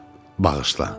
Bağışla.